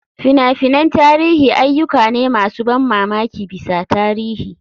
Fina-finan tarihi ayyuka ne masu ban mamaki bisa tarihi.